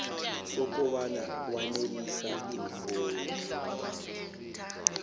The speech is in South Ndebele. sokobana wanelisa iimfuno